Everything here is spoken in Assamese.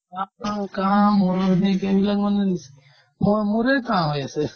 শুকান কাঁহ ,মূৰৰ বিষ এইবিলাক মানে নিচ হয় মোৰে কাঁহ হৈ আছে